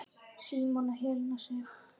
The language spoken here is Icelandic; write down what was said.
Símon og Helena Sif.